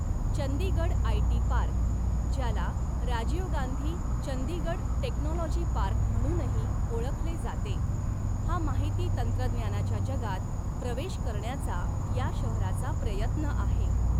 Chandigarh IT park, ज्याला Rajiv Gandhi Chandigarh technology park म्हणूनही ओळखले जाते हा माहिती तंत्रज्ञानाच्या जगात प्रवेश करण्याचा या शहराचा प्रयत्न आहे.